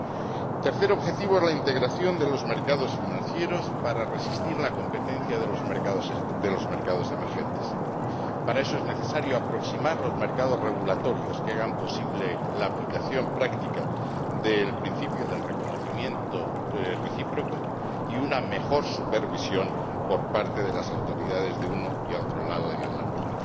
El tercer objetivo es la integración de los mercados financieros para resistir a la competencia de los mercados emergentes. Para eso es necesario aproximar los mercados regulatorios que hagan posible la aplicación práctica del principio del reconocimiento recíproco y una mejor supervisión por parte de las autoridades de uno y otro lado del Atlántico.